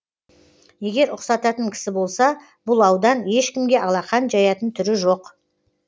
егер ұқсататын кісі болса бұл аудан ешкімге алақан жаятын түрі жоқ